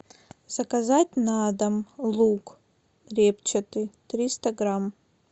заказать на дом лук репчатый триста грамм